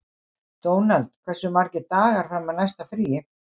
Dónald, hversu margir dagar fram að næsta fríi?